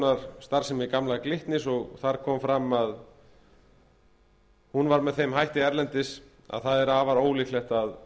skoðunar starfsemi gamla glitnis og þar kom fram að hún var þeim hætti erlendis með þeim hætti að afar ólíklegt er að